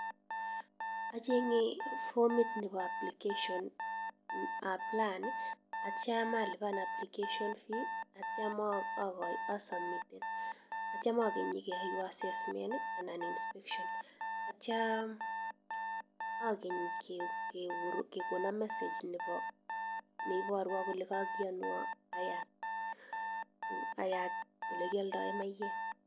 Acheng'e fomit ne pa application si aplayen. Atiem si alipani application fee atiem a sabmiten, atie keyaiwan assessment. Atia agany message kole kage yanuan.